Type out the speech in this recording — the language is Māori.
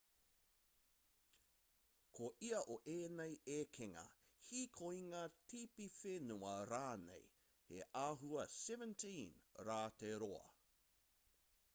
ko ia o ēnei ekenga hīkoinga tipiwhenua rānei he āhua 17 rā te roa